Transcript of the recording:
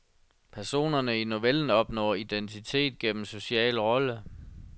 Personerne i novellen opnår identitet gennem social rolle.